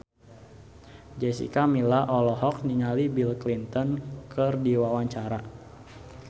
Jessica Milla olohok ningali Bill Clinton keur diwawancara